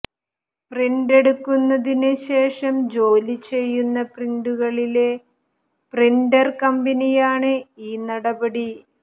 print എടുക്കുന്നതിന് ശേഷം ജോലി ചെയ്യുന്ന പ്രിന്ററുകളിലെ പ്രിന്റർ കമ്പനിയാണ് ഈ നടപടി